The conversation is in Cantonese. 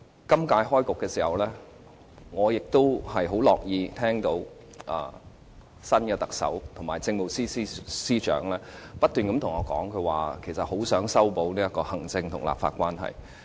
今屆會期開始時，我亦很樂意聽到新特首及政務司司長不斷對我們說，很希望修補行政立法關係。